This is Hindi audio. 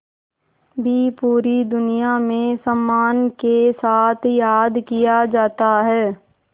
भी पूरी दुनिया में सम्मान के साथ याद किया जाता है